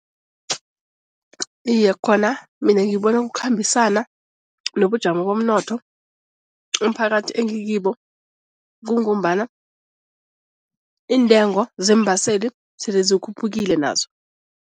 Iye khona mina ngibona kukhambisana nobujamo bomnotho umphakathi engikibo kungombana iintengo zeembaseli sezikhuphukile nazo.